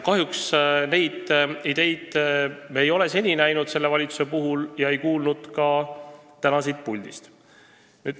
Kahjuks neid ideid me selle valitsuse puhul ei ole seni näinud ega kuulnud neid ka täna siit puldist.